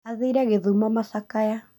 Athire gĩthumo macakaya